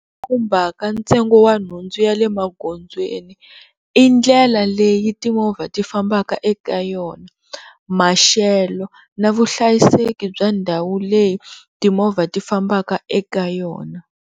khumbhaka ntsengo wa nhundzu ya le magondzweni i ndlela leyi timovha ti fambaka eka yona maxelo na vuhlayiseki bya ndhawu leyi timovha ti fambaka eka yona.